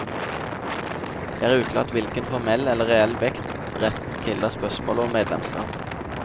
Det er uklart hvilken formell eller reell vekt retten tilla spørsmålet om medlemskap.